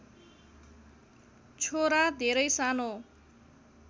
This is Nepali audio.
छोरा धेरै सानो